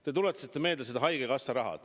Te tuletasite meelde haigekassa raha.